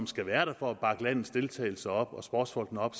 skal være der for at bakke landets deltagelse og sportsfolkene op